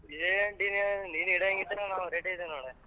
ಏನ್ deal ಏನ್ ನೀನ್ ಇಡಂಗಿದ್ರೆ ನಾವ್ ready ಇದೀವಿ ನೋಡ್.